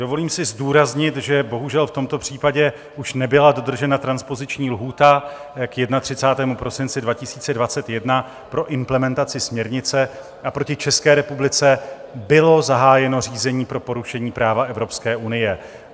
Dovolím si zdůraznit, že bohužel v tomto případě už nebyla dodržena transpoziční lhůta k 31. prosinci 2021 pro implementaci směrnice a proti České republice bylo zahájeno řízení pro porušení práva Evropské unie.